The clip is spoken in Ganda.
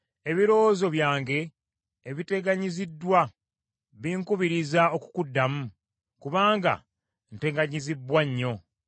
“Ebirowoozo byange ebiteganyiziddwa binkubiriza okukuddamu kubanga nteganyizibbwa nnyo.